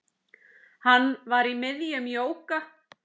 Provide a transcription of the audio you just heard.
Hann var í miðjum jóga